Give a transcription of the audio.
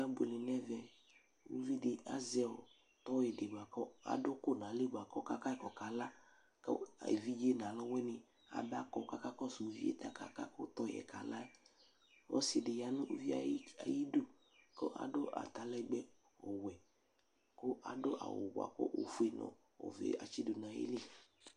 Akebuele nʋ ɛvɛ Uvi dɩ azɛ tɔyɩ dɩ bʋa kʋ adʋ ʋkʋ nʋ ayili kʋ ɔkaka yɩ kʋ ɔkala kʋ evidze nʋ alʋwɩnɩ abakɔ kʋ akakɔsʋ uvi yɛ tɛ ɔkaka kʋ tɔyɩ yɛ kala Ɔsɩ dɩ ya nʋ uvi yɛ ayidu kʋ adʋ atalɛgbɛ ɔwɛ kʋ adʋ awʋ bʋa kʋ ofue nʋ ɔvɛ atsɩ dʋ nʋ ayili